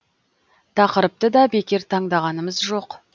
тақырыпты да бекер таңдағанымыз жоқ